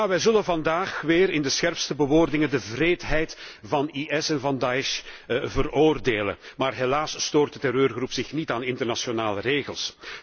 En ja, we zullen vandaag weer in de scherpste bewoordingen de wreedheid van IS veroordelen, maar helaas stoort de terreurgroep zich niet aan internationale regels.